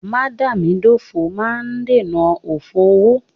Mádàámidófò máa ń dènà òfò owó.